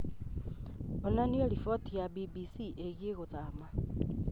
onania riboti ya b. b. c. ĩgiĩ gũthama